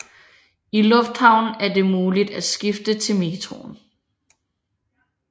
I lufthavnen er det muligt at skifte til metroen